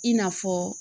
I n'a fɔ